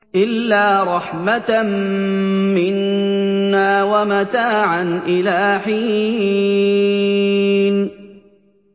إِلَّا رَحْمَةً مِّنَّا وَمَتَاعًا إِلَىٰ حِينٍ